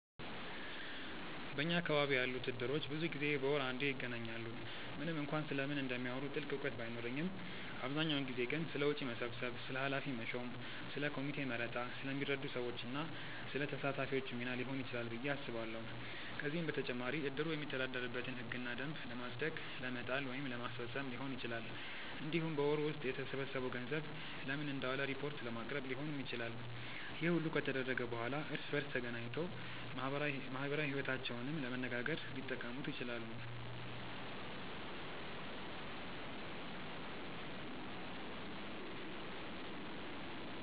በኛ አካባቢ ያሉት እድሮች ብዙ ጊዜ በወር አንዴ ይገናኛሉ። ምንም እንኳን ስለምን እንደሚያወሩ ጥልቅ እውቀት ባይኖረኝም አብዛኛውን ጊዜ ግን ስለ ወጪ መሰብሰብ፣ ስለ ኃላፊ መሾም፣ ስለ ኮሚቴ መረጣ፣ ስለሚረዱ ሰዎች እና ስለ ተሳታፊዎቹ ሚና ሊሆን ይችላል ብዬ አስባለሁ። ከዚህም በተጨማሪ እድሩ የሚተዳደርበትን ህግና ደንብ ለማጽደቅ ለመጣል ወይም ለማስፈፀም ሊሆን ይችላል። እንዲሁም በወሩ ውስጥ የተሰበሰበው ገንዘብ ለምን እንደዋለ ሪፖርት ለማቅረብ ሊሆንም ይችላል። ይህ ሁሉ ከተደረገ በኋላ እርስ በእርስ ተገናኝቶ ማህበራዊ ይወታቸውንም ለመነጋገር ሊጠቀሙት ይችላሉ።